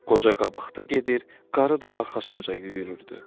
Qoca qabaqda gedir, qarı da arxasınca yüyürürdü.